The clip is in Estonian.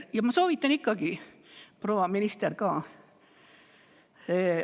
Ja ma soovitan ikkagi proua ministrile ka seda.